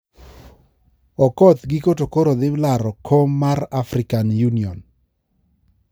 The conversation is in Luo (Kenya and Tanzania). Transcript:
Okoth giko to koro dhi laro kom mar African Union